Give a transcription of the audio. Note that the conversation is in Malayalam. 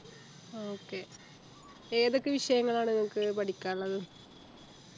okay ഏതൊക്കെ വിഷയങ്ങളാണ് നിങ്ങക്ക് പഠിക്കാനുള്ളത്